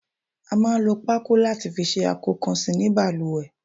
A máa ń lò pako láti fi ṣe akokansi ní baluwe